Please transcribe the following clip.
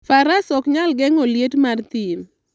Faras ok nyal geng'o liet mar thim.